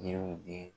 Ɲɛw di